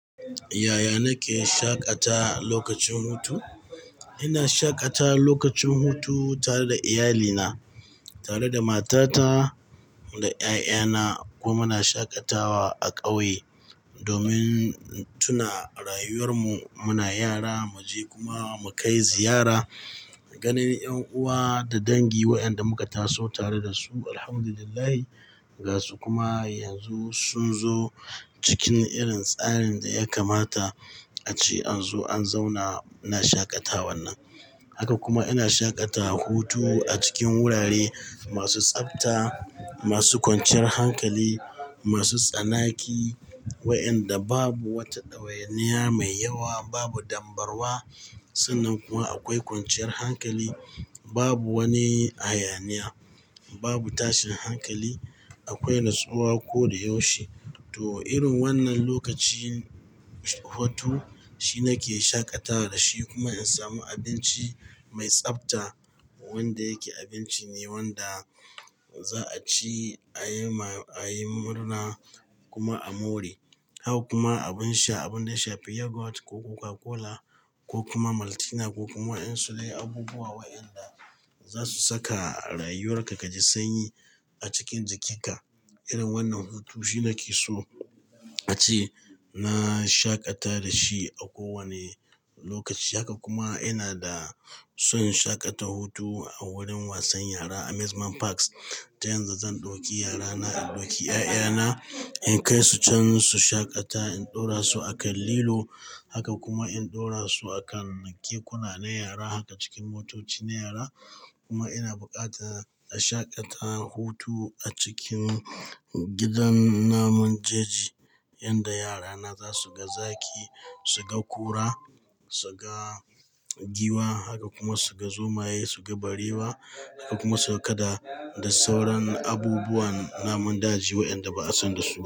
Yaya nake shaƙata lokacin hutu? Ina shaƙata lokacin hutu tare da iyalina, tare da matata da 'ya'yana. Kuma muna shaƙatawa a ƙauye domin tuna rayuwar mu. Muna yara, mu je kuma mu kai ziyara ganin 'yan uwa da dangi waɗanda muka taso tare da su, Alhamdulillah. Ga su kuma yanzu sun zo cikin irin tsarin da ya kamata ace an zo an zauna. Ina shaƙata wannan. Haka kuma ina shaƙata hutu a cikin wurare masu tsafta, masu kwanciyar hankali, masu tsanaki waƴanda babu wata ɗawainiya mai yawa, babu dambarwa. Sannan kuma akwai kwanciyar hankali, babu wani hayaniya, babu tashin hankali. Akwai natsuwa koda yaushe. To, irin wannan lokacin hutu, shi nake shaƙatawa da shi. Kuma in samu abinci mai tsafta wanda yake abinci ne wanda za'a ci, a yi ma, a yi murna kuma a more. Haka kuma abun sha. Abun da ya shafi yogurt ko Coca-Cola ko kuma Maltina ko kuma waƴansu dai, abubuwa waƴanda za su saka rayuwar ka kaji sanyi a cikin jikinka. Irin wannan hutu shi nake so a ce na shaƙata da shi a kowanne lokaci. Haka kuma ina da son in shaƙata hutu a wurin wasan yara, amusement parks. Ta yanzu zan ɗauki yara na, in ɗauki 'ya'yana, in kai su can su shaƙata. In ɗora su a kan lilo. Haka kuma in ɗora su a kan kekuna na yara. Haka cikin motoci na yara. Kuma ina buƙatar a shaƙata hutu a cikin gidan namun jeji inda yara na za su ga zaki, su ga kura, su ga giwa. Haka kuma su ga zomaye, su ga barewa. Ko kuma su ga kada da sauran abubuwan namun daji waƴanda ba a san da su ba.